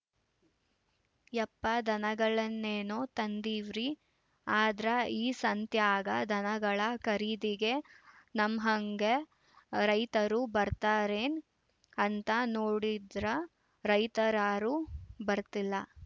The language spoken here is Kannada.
ಯಪ್ಪಾ ದನಗಳನ್ನೇನೋ ತಂದೀವ್ರಿ ಆದ್ರ ಈ ಸಂತ್ಯಾಗ ದನಗಳ ಖರೀದಿಗೆ ನಮ್ಹಂಗೇ ರೈತರು ಬರ್ತಾರೇನ್‌ ಅಂತ ನೋಡಿದ್ರ ರೈತರ್ಯಾರು ಬರ್ತಿಲ್ಲ